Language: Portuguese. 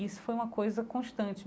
Isso foi uma coisa constante.